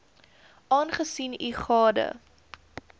aangesien u gade